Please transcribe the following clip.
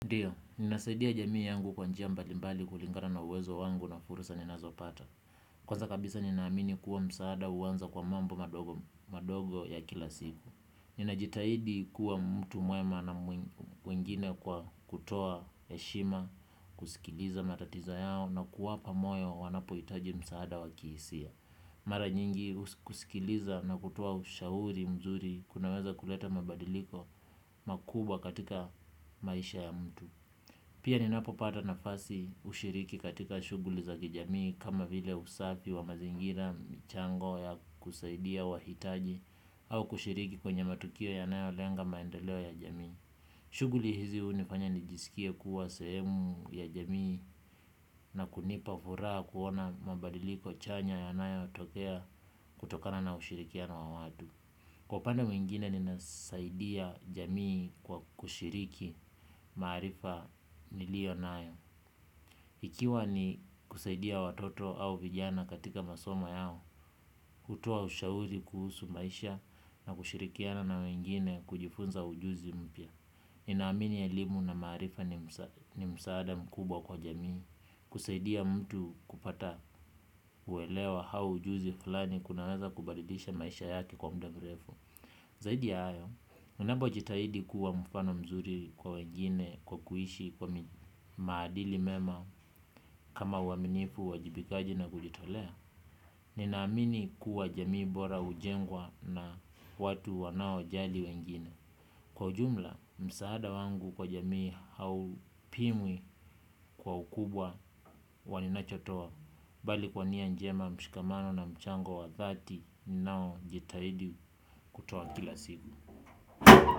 Ndiyo, ninasaidia jamii yangu kwa njia mbalimbali kulingana na uwezo wangu na fursa ninazopata. Kwanza kabisa ninaamini kuwa msaada huanza kwa mambo madogo madogo ya kila siku. Ninajitahidi kuwa mtu mwema na mwingine kwa kutoa heshima, kusikiliza matatizo yao na kuwapa moyo wanapohitaji msaada wa kihisia. Mara nyingi kusikiliza na kutoa ushauri mzuri kunaweza kuleta mabadiliko makubwa katika maisha ya mtu. Pia ninapopata nafasi hushiriki katika shughuli za kijamii kama vile usafi wa mazingira michango ya kusaidia wahitaji au kushiriki kwenye matukio yanayolenga maendeleo ya jamii. Shughuli hizi hunifanya nijisikie kuwa sehemu ya jamii na kunipa furaha kuona mabadiliko chanya yanayotokea kutokana na ushirikiano wa watu. Kwa upande mwingine ninasaidia jamii kwa kushiriki maarifa nilio nayo. Ikiwa ni kusaidia watoto au vijana katika masomo yao, kutoa ushauri kuhusu maisha na kushirikiana na wengine kujifunza ujuzi mpya. Ninaamini elimu na maarifa ni msaada mkubwa kwa jamii, kusaidia mtu kupata uelewa au ujuzi fulani kunaweza kubadilisha maisha yake kwa mda mrefu. Zaidi ya hayo, unapojitahidi kuwa mfano mzuri kwa wengine kwa kuishi kwa maadili mema kama uaminifu uwajibikaji na kujitolea. Ninaamini kuwa jamii bora hujengwa na watu wanao jali wengine. Kwa ujumla, msaada wangu kwa jamii haupimwi kwa ukubwa wa ninachotoa. Bali kwa nia njema mshikamano na mchango wa dhati, ninaojitahidi kutoa kila siku.